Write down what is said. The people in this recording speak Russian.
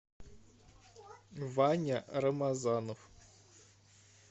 ваня рамазанов